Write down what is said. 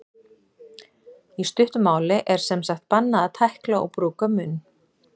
Í stuttu máli er sem sagt bannað að tækla og brúka munn.